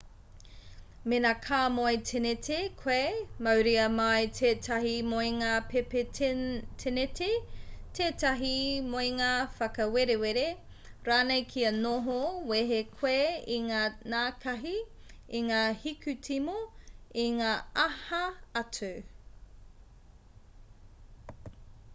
mēnā ka moe tēneti koe mauria mai tētahi moenga pēpi tēneti tētahi moenga whakawerewere rānei kia noho wehe koe i ngā nākahi i ngā hikutimo i ngā aha atu